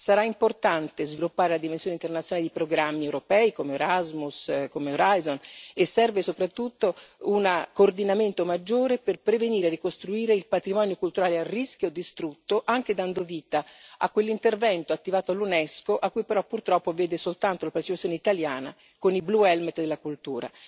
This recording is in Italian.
Sarà importante sviluppare la dimensione internazionale di programmi europei come Erasmus, come Horizon e serve soprattutto un coordinamento maggiore per prevenire e ricostruire il patrimonio culturale a rischio o distrutto, anche dando vita a quell'intervento attivato dall'UNESCO, che però purtroppo vede soltanto la partecipazione italiana con i blue helmet della cultura.